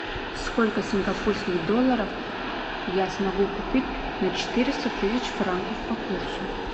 сколько сингапурских долларов я смогу купить на четыреста тысяч франков по курсу